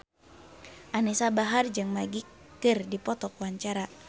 Anisa Bahar jeung Magic keur dipoto ku wartawan